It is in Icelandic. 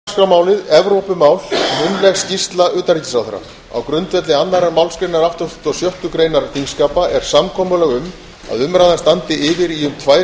dagskrármálið evrópumál munnleg skýrsla utanríkisráðherra á grundvelli annarrar málsgreinar áttugustu og sjöttu greinar þingskapa er samkomulag um að umræðan standi yfir í um tvær